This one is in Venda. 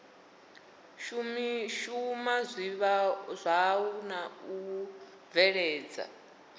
shuma zwavhui na u bveledza